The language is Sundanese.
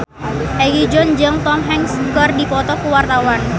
Egi John jeung Tom Hanks keur dipoto ku wartawan